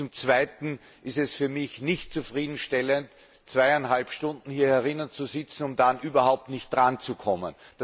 Zum Zweiten ist es für mich nicht zufriedenstellend, zweieinhalb Stunden hier zu sitzen, um dann überhaupt nicht dranzukommen.